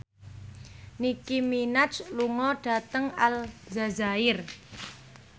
Nicky Minaj lunga dhateng Aljazair